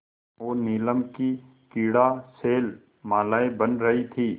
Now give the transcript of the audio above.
और नीलम की क्रीड़ा शैलमालाएँ बन रही थीं